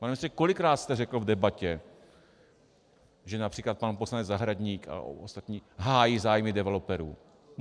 Pane ministře, kolikrát jste řekl v debatě, že například pan poslanec Zahradník a ostatní hájí zájmy developerů?